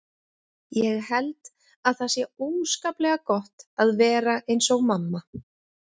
Ég held að það sé óskaplega gott að vera eins og mamma.